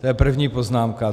To je první poznámka.